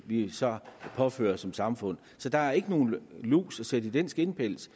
vi så påfører som samfund så der er ikke nogen lus at sætte i den skindpels